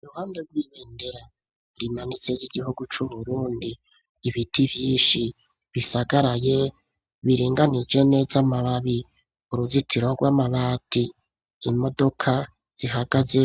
Iruhande rw'ibendera rinanitse ry'igihugu c'uburundi ,ibiti vyinshi bisagaraye biringanije nez' amababi ,uruzitiro rw'amabati imodoka zihagaze